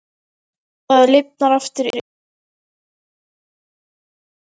Það lifnar aftur yfir honum þegar síminn hringir.